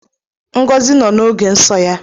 Ngozi nọ n’oge nso ya.